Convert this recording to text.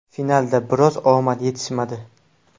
Finalda biroz omad yetishmadi.